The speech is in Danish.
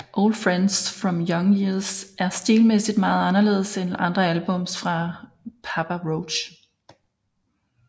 Old Friends From Young Years er stilmæssigt meget anderledes end andre albums fra Papa Roach